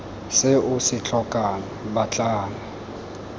se o se tlhokang batlang